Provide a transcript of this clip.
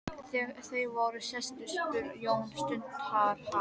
Þegar þeir voru sestir spurði Jón stundarhátt